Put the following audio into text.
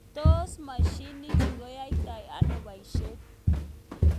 Tos mashinishe chu koyaitoi ano boishet?